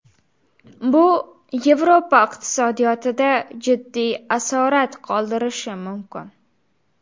Bu Yevropa iqtisodiyotida jiddiy asorat qoldirishi mumkin.